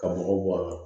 Ka mɔgɔw bɔ a la